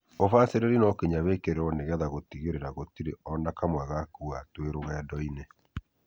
Ubacĩrĩri no nginya wĩkĩrĩrwo nĩgetha gũtigĩrĩra gũtirĩ ona kamwe gakua twĩ rũgendo-inĩ.